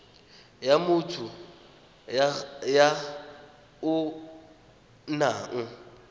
ya motho ya o nang